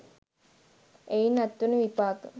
එයින් අත්වන විපාක